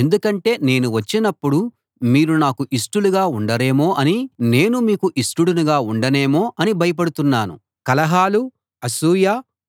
ఎందుకంటే నేను వచ్చినప్పుడు మీరు నాకు ఇష్టులుగా ఉండరేమో అనీ నేను మీకు ఇష్టుడనుగా ఉండనేమో అని భయపడుతున్నాను కలహాలు అసూయ